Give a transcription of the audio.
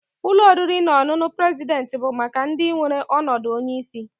Ụlọ oriri na ọṅụṅụ president bụ maka ndị nwere ọnọdụ onye isi.